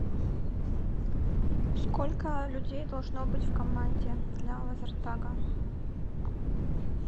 сколько людей должно быть в команде для лазертага